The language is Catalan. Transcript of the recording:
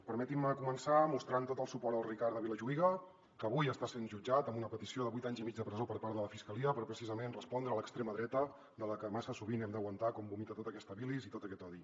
permetin me començar mostrant tot el suport al ricard de vilajuïga que avui està sent jutjat amb una petició de vuit anys i mig de presó per part de la fiscalia per precisament respondre a l’extrema dreta de la que massa sovint hem d’aguantar com vomita tota aquesta bilis i tot aquest odi